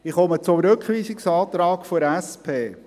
Ich komme zum Rückweisungsantrag der SP.